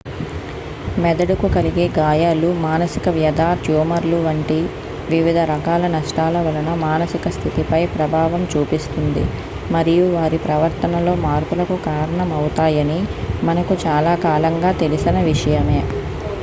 మెదడుకు కలిగే గాయాలు మానసిక వ్యధ ట్యూమర్లు వంటి వివిధ రకాల నష్టాల వలన మానసిక స్థితిపై ప్రభావం చూపిస్తుంది మరియు వారి ప్రవర్తనలో మార్పులకు కారణమవుతాయని మనకు చాలా కాలంగా తెలిసిన విషయమే